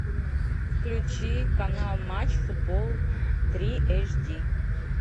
включи канал матч футбол три эйч ди